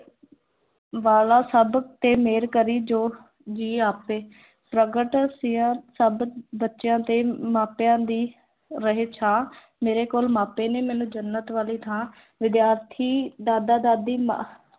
ਵਾਲਾ ਸਭ ਤੇ ਮਿਹਰ ਕਰੀ ਜੋ ਜੀ ਆਪੇ ਪ੍ਰਗਟ ਸਿਆਂ ਸਭ ਬੱਚਿਆਂ ਤੇ ਮਾਪਿਆਂ ਦੀ ਰਹੇ ਛਾਂ ਮੇਰੇ ਕੋਲ ਮਾਪੇ ਨੇ, ਮੈਨੂੰ ਜੰਨਤ ਵਾਲੀ ਥਾਂ, ਵਿਦਿਆਰਥੀ ਦਾਦਾ ਦਾਦੀ ਮਾਂ